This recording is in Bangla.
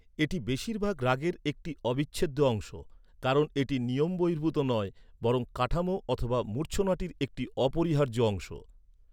এটি বেশিরভাগ রাগের একটি অবিচ্ছেদ্য অংশ। কারণ এটি নিয়মবহির্ভূত নয়, বরং কাঠামো অথবা মূর্ছনাটির একটি অপরিহার্য অংশ।